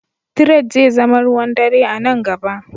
Tired zai zama ruwan dare a nan gaba.